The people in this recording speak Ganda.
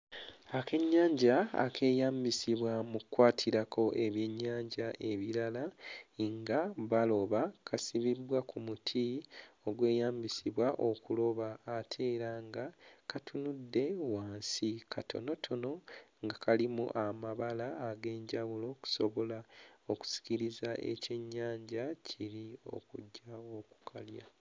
Akennyanja ekeeyambisibwa mu kkwatirako ebyennyanja ebirala nga baloba kasibiddwa ku muti ogweyambisibwa okuloba ate era nga katunudde wansi, katonotono nga kalimu amabala ag'enjawulo okusobola okusikiriza ekyennyanja kiri okujja okukalya.